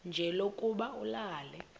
nje lokuba ulale